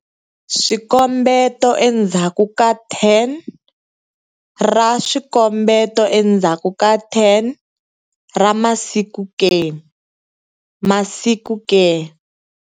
Swikombeto endzhaku ka 10 ra swikombeto endzhaku ka 10 ra masiku ke? masiku ke?